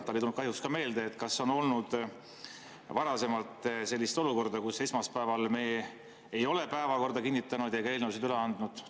Talle ei tulnud kahjuks ka meelde, kas on olnud varasemalt sellist olukorda, kus me ei ole esmaspäeval päevakorda kinnitanud ega eelnõusid üle andnud.